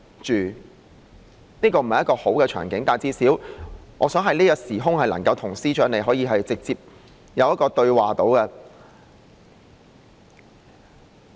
這並非一個好的場景，但最少我想在這個時空能夠與司長直接對話。